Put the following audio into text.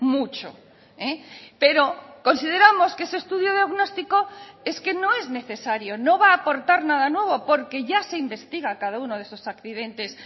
mucho pero consideramos que ese estudio diagnóstico es que no es necesario no va a aportar nada nuevo porque ya se investiga cada uno de esos accidentes